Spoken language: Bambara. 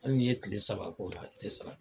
Hali n'i ye tile saba k'o la ,a tɛ sara.